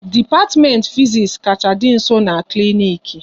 Dipatimenti Fiziks kacha dị nso n'klinik